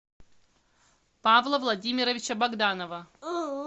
павла владимировича богданова